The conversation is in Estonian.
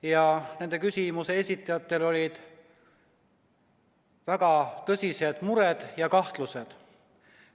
Ja nende küsimuste esitajatel olid väga tõsised mured ja kahtlused.